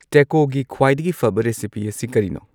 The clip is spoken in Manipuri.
ꯇꯦꯀꯣꯒꯤ ꯈ꯭ꯋꯥꯏꯗꯒꯤ ꯐꯕ ꯔꯦꯁꯤꯄꯤ ꯑꯁꯤ ꯀꯔꯤꯅꯣ